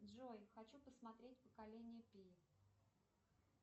джой хочу посмотреть поколение пи